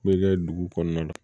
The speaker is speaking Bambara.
Bɛ kɛ dugu kɔnɔna na